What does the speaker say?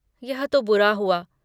यह तो बुरा हुआ।